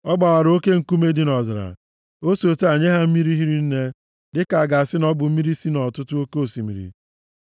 Ọ gbawara oke nkume dị nʼọzara, si otu a nye ha mmiri hiri nne, dịka a ga-asị na ọ bụ mmiri si nʼọtụtụ oke osimiri.